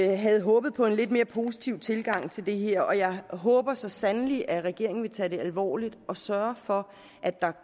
jeg havde håbet på en lidt mere positiv tilgang til det her og jeg håber så sandelig at regeringen vil tage det alvorligt og sørge for at der